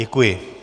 Děkuji.